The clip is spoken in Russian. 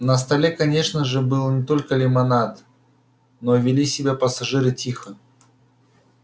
на столе конечно же был не только лимонад но вели себя пассажиры тихо